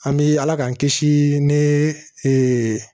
An bɛ ala k'an kisi ni ee